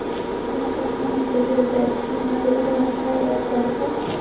देख सकते हैं। वाइट कलर का --